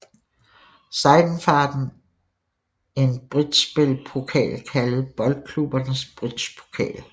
Seidenfaden en bridgespil pokal kaldet Boldklubbernes Bridgepokal